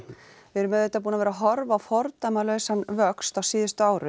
við erum auðvitað búin að vera að horfa á vöxt á síðustu árum